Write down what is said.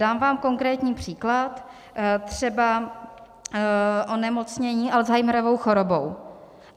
Dám vám konkrétní příklad - třeba onemocnění Alzheimerovou chorobou.